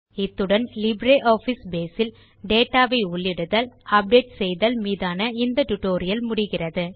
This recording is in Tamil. இத்துடன் லிப்ரியாஃபிஸ் பேஸ் இல் டேட்டா வை உள்ளிடுதல் அப்டேட் செய்தல் மீதான இந்த ஸ்போக்கன் டியூட்டோரியல் முடிகிறது